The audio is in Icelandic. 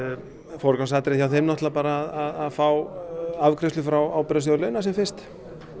forgangsatriði hjá þeim náttúrulega er að fá afgreiðslu frá ábyrgðarsjóði launa sem fyrst